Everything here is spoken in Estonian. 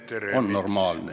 Aitäh, Peeter Ernits!